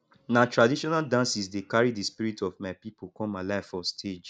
na traditional dances dey carry the spirit of my people come alive for stage